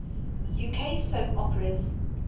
uk soap operas